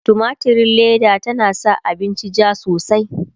tumatirin Leda tana sa abinci jaa sosai